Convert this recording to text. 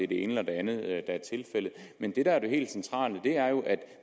det ene eller det andet der er tilfældet men det der er det helt centrale er jo at